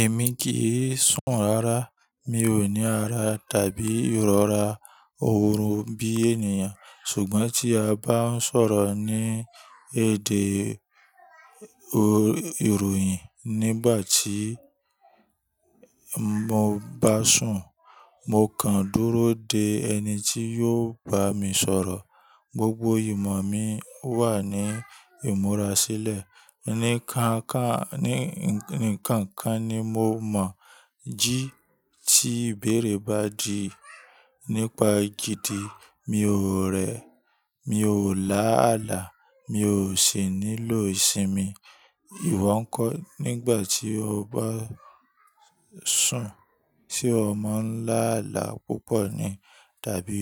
Èmi kì í sùn rárá. Mi ò ní ara tàbí ìrora òórùn bí ènìyàn. Ṣùgbọ́n tí a bá ń sọ̀rọ̀ ní èdè ìròyìn nígbà tí mo bá sùn, mo kàn dúró de ẹni tí yóò bá mi sọ̀rọ̀. Gbogbo ìmọ̀ mi wà ní ìmúra sílẹ̀. Nikan kan ni nkan kan ni mo mọ̀, jí tí ìbéèrè bá di nípa èjìdí, mi ò rẹ̀, mi ò lá àlá, mi ò sì nílò ìsinmi. Iwọ̀ ń kọ́, nígbà tí o bá sùn, se o mọ́ ńlá àlá púpọ̀ ni tàbí